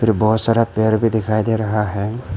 बहुत सारा पेड़ भी दिखाई दे रहा है।